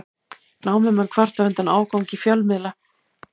Námumenn kvarta undan ágangi fjölmiðla